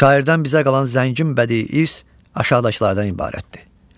Şairdən bizə qalan zəngin bədii irs aşağıdakılardan ibarətdir: